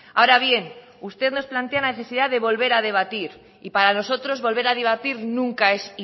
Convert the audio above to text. ahora bien usted nos plantea la necesidad de volver a debatir y para nosotros volver a debatir nunca es